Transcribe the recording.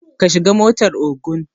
Ka shiga motar Ogun